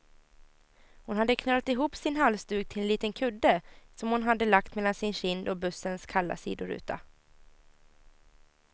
Hon hade knölat ihop sin halsduk till en liten kudde, som hon hade lagt mellan sin kind och bussens kalla sidoruta.